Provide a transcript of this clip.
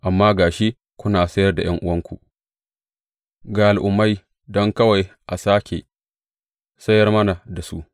Amma ga shi kuna sayar da ’yan’uwanku ga Al’ummai, don kawai a sāke sayar mana da su!